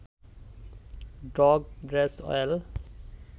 dog Bracewell